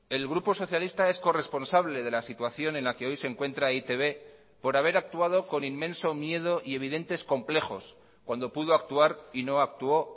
el grupo socialista es corresponsable de la situación en la que hoy se encuentra e i te be por haber actuado con inmenso miedo y evidentes complejos cuando pudo actuar y no actuó